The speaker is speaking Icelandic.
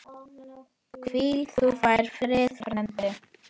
Hvíl þú í friði frændi.